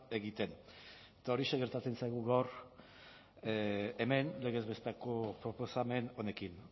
egiten eta horixe gertatzen zaigu gaur hemen legez besteko proposamen honekin